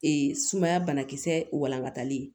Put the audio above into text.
Ee sumaya banakisɛ walankatalen